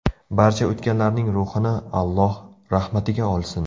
Barcha o‘tganlarning ruhini Alloh rahmatiga olsin!